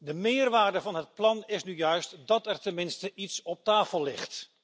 De meerwaarde van het plan is nu juist dat er tenminste iets op tafel ligt.